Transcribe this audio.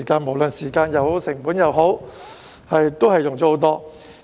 無論時間或成本也會很多。